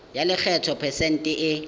ya lekgetho phesente e